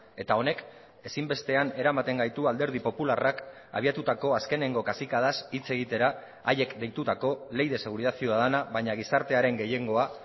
eta honek ezinbestean eramaten gaitu alderdi popularrak abiatutako azkeneko kazikadaz hitz egitera haiek deitutako ley de seguridad ciudadana baina gizartearen gehiengoa